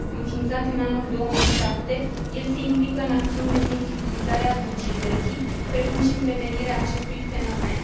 Înființat în anul 2007, el se implică în acțiuni de sensibilizare a societății, precum și în prevenirea acestui fenomen.